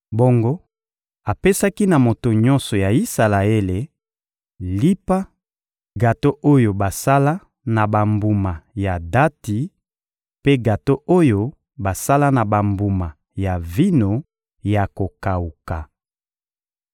Bongo apesaki na moto nyonso ya Isalaele: lipa, gato oyo basala na bambuma ya dati mpe gato oyo basala na bambuma ya vino ya kokawuka.